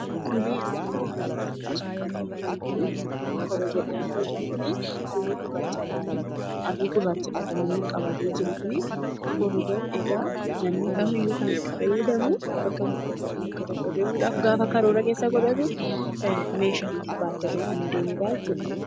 Tole, yeroo ammaa kana wanti asirratti arginu kuni korojoodha. Korojoon kunii halluu gurraachadha kan inni qabatee jiru kunii. Korojoon kun egaa namni kamiyyuu kan itti fayyadamu bakka tokko deemuudhaaf gaafa karoora keessa godhatu, meeshaa itti baattatee kan adeemudha jechuudha.